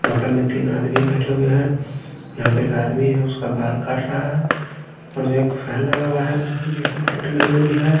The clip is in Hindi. बगल में तीन आदमी बैठे हुए है यहाँ पे एक आदमी है उसका बाल काट रहा है ऊपरएक फैन लगा हुआ है बगल में एक लाईट लगी हुयी है।